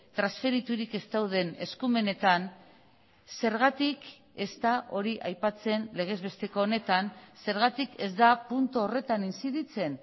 transferiturik ez dauden eskumenetan zergatik ez da hori aipatzen legez besteko honetan zergatik ez da puntu horretan inziditzen